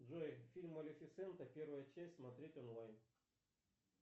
джой фильм малифисента первая часть смотреть онлайн